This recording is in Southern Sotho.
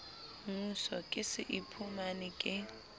moso ke se iphumane ke